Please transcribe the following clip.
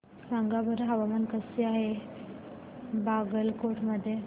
सांगा बरं हवामान कसे आहे बागलकोट मध्ये